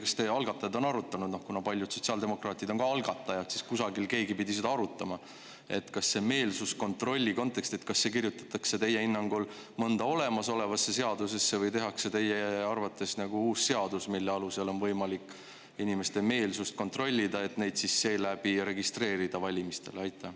Kas te algatajatena olete arutanud –, ma ei tea, paljud sotsiaaldemokraadid on ju ka algatajad ja kusagil keegi pidi seda arutama –, kas see meelsuskontroll kirjutatakse mõnda olemasolevasse seadusesse või tehakse teie arvates uus seadus, mille alusel on võimalik inimeste meelsust kontrollida, et neid siis selle põhjal registreerida valimistel?